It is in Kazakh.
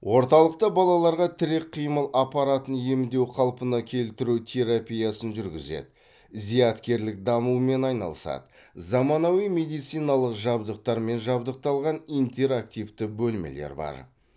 орталықта балаларға тірек қимыл аппаратын емдеу қалпына келтіру терапиясын жүргізеді зияткерлік дамумен айналысады заманауи медициналық жабдықтармен жабдықталған интерактивті бөлмелер бар